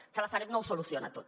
que la sareb no ho soluciona tot